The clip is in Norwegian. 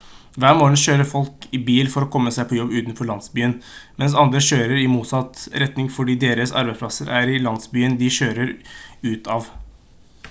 hver morgen kjører folk i bil for komme seg på jobb utenfor landsbyen mens andre kjører i motsatt retning fordi deres arbeidsplass er i landsbyen de andre kjører ut av